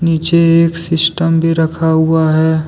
नीचे एक सिस्टम भी रखा हुआ है।